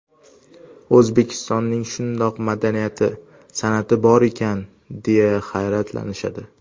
O‘zbekistonning shundoq madaniyati, san’ati bor ekan, deya hayratlanishadi.